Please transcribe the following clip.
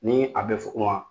Nii a bɛ fukun wa